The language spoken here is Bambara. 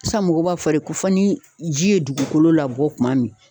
San mɔgɔw b'a fɔ de ko fɔ ni ji ye dugukolo labɔ tuma min